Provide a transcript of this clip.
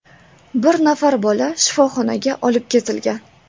Bir nafar bola shifoxonaga olib ketilgan.